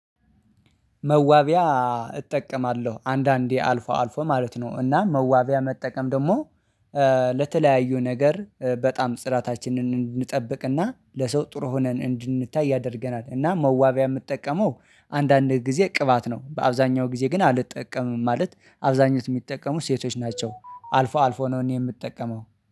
መዋቢያ እጠቀማለሁ አንዳንዴ አልፎ አልፎ ማለት ነው። እና መዋቢያ መጠቀም ደግሞ ለተለያዩ ነገር በጣም ጥራታችንን እንድንጠብቅና ለሰው ጥሩ ሆነን እንድንታይ ያደርገናል። እና መዋቢያ የምጠቀመው አንዳንድ ጊዜ ቅባት ነው። በአብዛኛው ጊዜ ግን አልትጠቀምም ማለት አብዛኞቹ የሚጠቀሙ ሴቶች ናቸው አልፎ አልፎ ነው እኔ የምጠቀመው